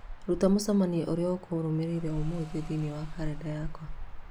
rũta mũcemanio ũrĩa ũkũrũmĩrĩra ũmũthĩ thĩinĩ wa kalendarĩ yakwa